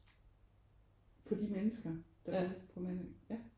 På de mennesker der er på Mandø ja